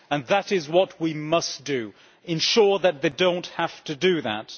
That is what we must do ensure that they do not have to do that.